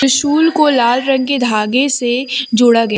शूल को लाल रंग के धागे से जोड़ा गया--